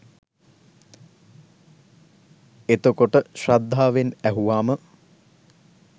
එතකොට ශ්‍රද්ධාවෙන් ඇහුවාම